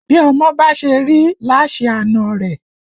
Bí ọmọ bá ṣe rí là á ṣe àna rẹ̀